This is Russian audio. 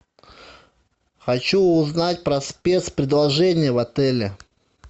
хочу узнать про спец предложения в отеле